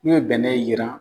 N'u ye bɛnɛ yiran